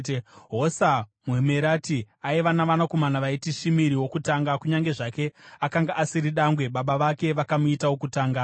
Hosa muMerati aiva navanakomana vaiti: Shimiri wokutanga (kunyange zvake akanga asiri dangwe, baba vake vakamuita wokutanga.)